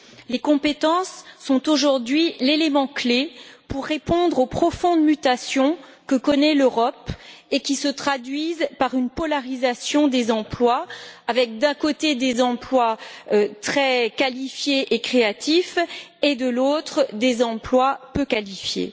Les compétences sont aujourd'hui l'élément clé pour répondre aux profondes mutations que connaît l'Europe et qui se traduisent par une polarisation des emplois avec, d'un côté, des emplois très qualifiés et créatifs et, de l'autre, des emplois peu qualifiés.